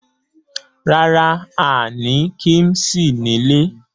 Rárá, a ní kíḿṣì sílé.